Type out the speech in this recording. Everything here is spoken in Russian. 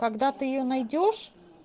когда ты её найдёшь